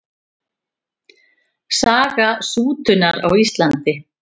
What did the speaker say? Saga sútunar á Íslandi.